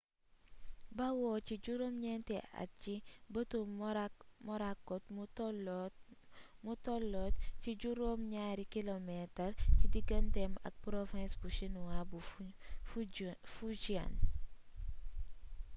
bawoo ci juróom ñeenti at ci bëtu morakot mu tolloot ci juróom ñaari kilomeetar ci diganteem ak province bu chinois bu fujian